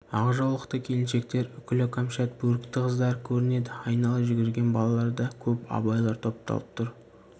ақ жаулықты келіншектер үкілі кәмшат бөрікті қыздар көрінеді айнала жүгірген балалар да көп абайлар топталып тұр